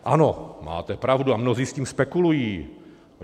Ano, máte pravdu, a mnozí s tím spekulují.